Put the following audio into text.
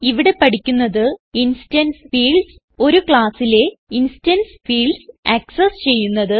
ഇവിടെ പഠിക്കുന്നത് instance fields ഒരു classലെ ഇൻസ്റ്റൻസ് ഫീൽഡ്സ് ആക്സസ് ചെയ്യുന്നത്